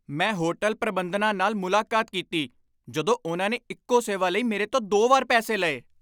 ਮੈਂ ਹੋਟਲ ਪ੍ਰਬੰਧਨਾਂ ਨਾਲ ਮੁਲਾਕਾਤ ਕੀਤੀ ਜਦੋਂ ਉਨ੍ਹਾਂ ਨੇ ਇੱਕੋ ਸੇਵਾ ਲਈ ਮੇਰੇ ਤੋਂ ਦੋ ਵਾਰ ਪੈਸੇ ਲਏ।